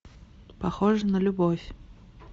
похоже на любовь